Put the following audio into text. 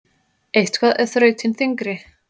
Eitthvað er þrautin þyngri